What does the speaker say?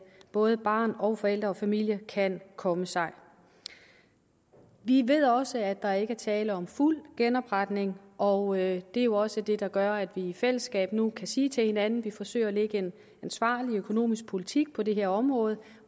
både barn og forældre og familie kan komme sig vi ved også at der ikke er tale om fuld genopretning og det er jo også det der gør at vi i fællesskab nu kan sige til hinanden at vi forsøger at lægge en ansvarlig økonomisk politik på det her område